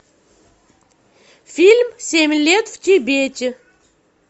фильм семь лет в тибете